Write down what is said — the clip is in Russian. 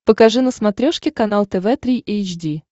покажи на смотрешке канал тв три эйч ди